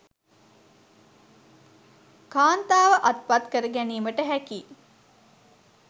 කාන්තාව අත්පත් කරගැනීමට හැකි